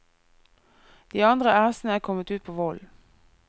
De andre æsene er kommet ut på vollen.